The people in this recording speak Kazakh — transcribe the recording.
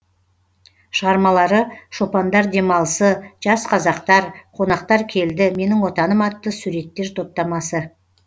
шығармалары шопандар демалысы жас қазақтар қонақтар келді менің отаным атты суреттер топтамасы